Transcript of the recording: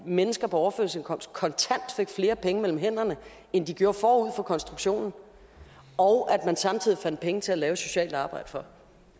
mennesker på overførselsindkomst kontant fik flere penge mellem hænderne end de gjorde forud for konstruktionen og at man samtidig fandt penge til at lave et socialt arbejde for